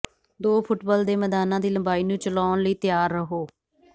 ਦੋ ਫੁੱਟਬਾਲ ਦੇ ਮੈਦਾਨਾਂ ਦੀ ਲੰਬਾਈ ਨੂੰ ਚਲਾਉਣ ਲਈ ਤਿਆਰ ਰਹੋ